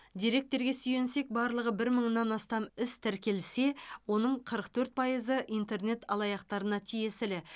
деректерге сүйенсек барлығы бір мыңнан астам іс тіркелсе оның қырық төрт пайызы интернет алаяқтарына тиесілі